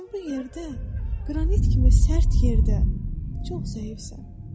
Sən bu yerdə, qranit kimi sərt yerdə, çox zəifsən.